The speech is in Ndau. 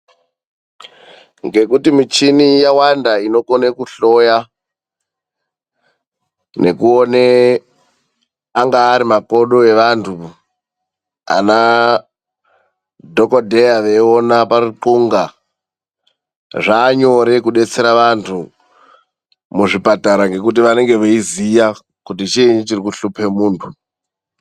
Ngekuti michini yawanda inokona kuhloya nekuona angari ari makodo evantu ana dhokodheya veiona paruthunga zvanyore kudetsera andu muzvibhedhlera ngekuti anenge eiziva kuti chini chiri kushupa muntu.